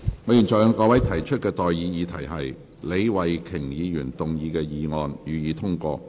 我現在向各位提出的待議議題是：李慧琼議員動議的議案，予以通過。